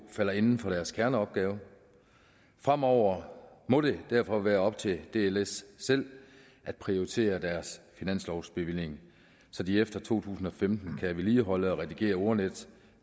falder inden for deres kerneopgave fremover må det derfor være op til dsl selv at prioritere deres finanslovsbevilling så de efter to tusind og femten kan vedligeholde og redigere ordnetdk